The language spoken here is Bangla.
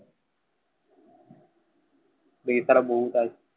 pressure বহুত আছে।